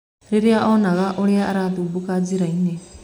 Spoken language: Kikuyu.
Rĩria onaga ũrĩa arathumbũka njĩrainĩ